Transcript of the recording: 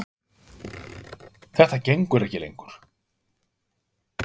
Þetta gengur ekki lengur.